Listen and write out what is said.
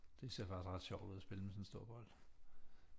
Det ser faktisk ret sjovt ud at spille med sådan en stor bold